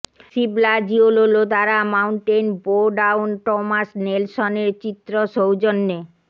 সিবলা জিওলোলো দ্বারা mountain bow down Thomas নেলসনের চিত্র সৌজন্যে